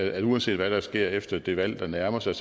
at uanset hvad der sker efter det valg der nærmer sig